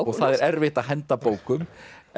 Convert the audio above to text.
og það er erfitt að henda bókum